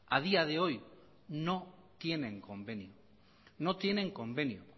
a día de hoy no tienen convenio no tienen convenio